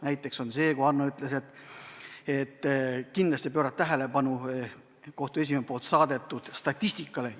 Näiteks ütles Hanno, et kindlasti tuleb pöörata tähelepanu kohtute esimeeste saadetud statistikale.